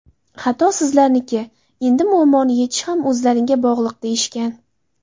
Xato sizlarniki, endi muammoni yechish ham o‘zlariga bog‘liq deyishgan.